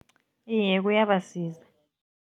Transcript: Iye, kuyabasiza.